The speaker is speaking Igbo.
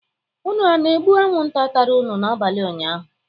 Unu ana-egbu anwụnta tara unu n'abalị ụnyaahụ?